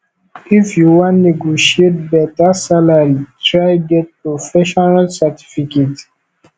if you wan negotiate beta salary try get professional certification